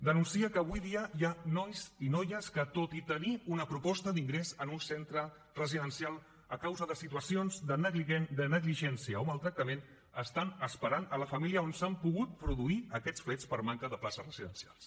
denuncia que avui dia hi ha nois i noies que tot i tenir una proposta d’ingrés en un centre residencial a causa de situacions de negligència o maltractament estan esperant en la família on s’han pogut produir aquests fets per manca de places residencials